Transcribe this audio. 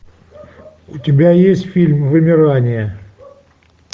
у тебя есть фильм вымирание